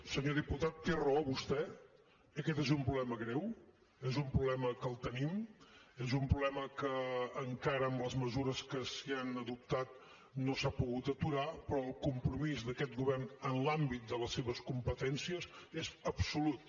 senyor diputat té raó vostè aquest és un problema greu és un problema que el tenim és un problema que encara amb les mesures que s’hi han adoptat no s’ha pogut aturar però el compromís d’aquest govern en l’àmbit de les seves competències és absolut